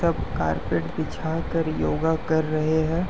सब कारपेट बिछाकर योगा कर रहे हैं।